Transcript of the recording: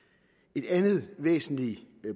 et andet væsentligt